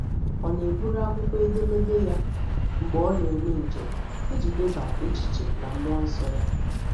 Ọ na-eburu akwụkwọ edemede ya mgbe ọ na-eme njem, iji deba echiche na mmụọ nsọ ya.